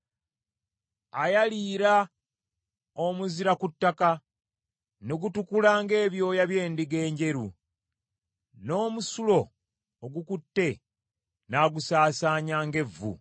Ayaliira omuzira ku ttaka ne gutukula ng’ebyoya by’endiga enjeru, n’omusulo ogukutte n’agusaasaanya ng’evvu.